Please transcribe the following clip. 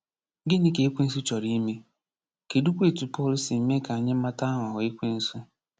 Gịnị ka Ekwensu chọrọ ime, kedụkwa etu Pọl si mee ka anyị mata aghụghọ Ekwensu?